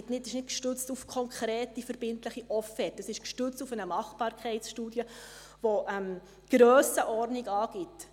Dies ist nicht gestützt auf konkrete, verbindliche Offerten, sondern gestützt auf eine Machbarkeitsstudie, welche die Grössenordnung angibt.